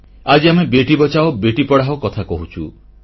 ଆଜି ଆମେ ବେଟୀ ବଚାଓ ବେଟୀ ପଢ଼ାଓ କଥା କହୁଛୁ